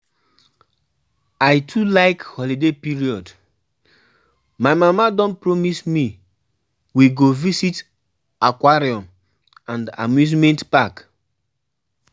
I too like holiday period. My mama don promise me we go visit aquarium and amusement park.